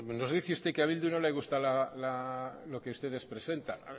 nos dice usted que a bildu no le gusta lo que ustedes presentan